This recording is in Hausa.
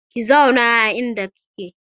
Ki zauna a inda kike!